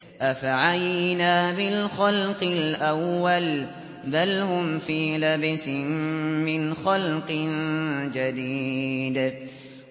أَفَعَيِينَا بِالْخَلْقِ الْأَوَّلِ ۚ بَلْ هُمْ فِي لَبْسٍ مِّنْ خَلْقٍ جَدِيدٍ